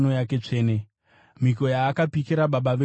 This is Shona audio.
mhiko yaakapikira baba vedu Abhurahama: